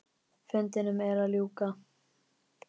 Fundinum er að ljúka.